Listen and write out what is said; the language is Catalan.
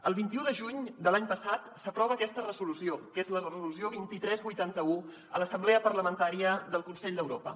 el vint un de juny de l’any passat s’aprova aquesta resolució que és la resolució dos mil tres cents i vuitanta un a l’assemblea parlamentària del consell d’europa